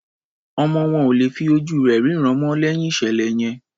Ọmọ wọn ò lè fí ojú rẹ̀ rínràn mọ́ lẹ́yìn ìṣẹ̀lẹ̀ yẹn.